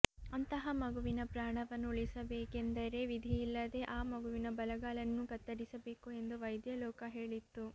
ಅಂತಹ ಮಗುವಿನ ಪ್ರಾಣವನ್ನು ಉಳಿಸಿಬೇಕೆಂದರೆ ವಿಧಿಯಿಲ್ಲದೆ ಆ ಮಗುವಿನ ಬಲಗಾಲನ್ನು ಕತ್ತರಿಸಬೇಕು ಎಂದು ವೈದ್ಯ ಲೋಕ ಹೇಳಿತ್ತು